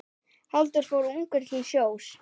Halldór fór ungur til sjós.